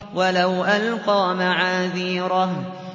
وَلَوْ أَلْقَىٰ مَعَاذِيرَهُ